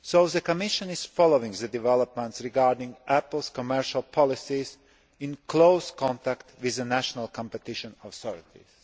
The Commission is following the developments regarding Apple's commercial policies and is in close contact with the national competition authorities.